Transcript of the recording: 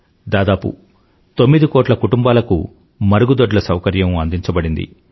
దాదాపు తొమ్మిది కోట్ల కుటుంబాలకు మరుగుదొడ్ల సౌకర్యం అందించబడింది